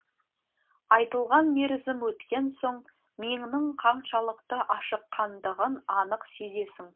айтылған мерзім өткен соң миыңның қаншалықты ашыққандығын анық сезесің